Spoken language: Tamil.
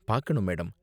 பாக்கணும் மேடம்.